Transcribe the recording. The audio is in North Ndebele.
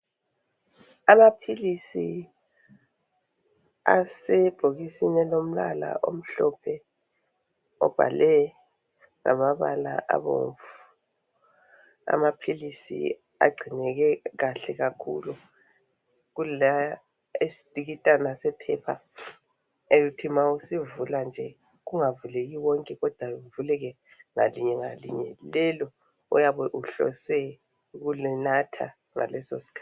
Amaphilisi asebhokisini elilombala omhlophe obhalwe ngamabala abomvu. Amaphilisi agcineke kahle. kakhilu kulesitikitana sephepha elithi ma usivula nje kungavuleki wonke kodwa kuvuleke ngalinye ngalinye lelo oyabe uhlose ukulinatha ngaleso skhathi.